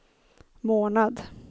månad